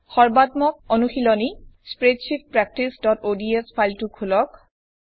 সৰ্বাত্মক অনুশিলনী স্প্ৰেডশীট practiceঅডছ ফাইলটো খোলক